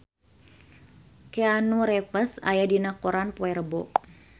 Keanu Reeves aya dina koran poe Rebo